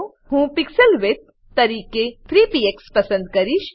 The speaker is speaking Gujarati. હું પીક્સલ વિડ્થ તરીકે 3 પીએક્સ પસંદ કરીશ